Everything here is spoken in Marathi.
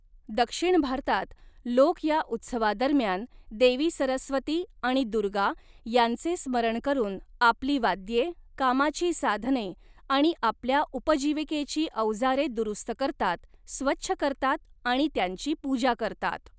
दक्षिण भारतात, लोक या उत्सवादरम्यान देवी 'सरस्वती' आणि 'दुर्गा' यांचे स्मरण करून आपली वाद्ये, कामाची साधने आणि आपल्या उपजीविकेची औजारे दुरुस्त करतात, स्वच्छ करतात आणि त्यांची पूजा करतात.